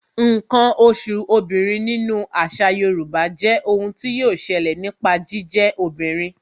Ǹkan oṣù obìnrin nínú àṣà Yorùbá jé ohun tí yọ ṣẹlẹ̀ nípa jíjẹ́ obìnrin